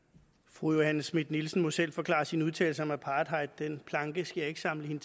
fru johanne schmidt nielsen må selv forklare sine udtalelser om apartheid den planke skal jeg ikke samle hende